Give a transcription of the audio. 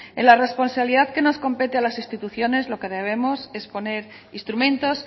en la responsabilidad que nos compete a las instituciones lo que debemos es poner instrumentos